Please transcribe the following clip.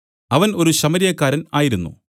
അവൻ ഒരു ശമര്യക്കാരൻ ആയിരുന്നു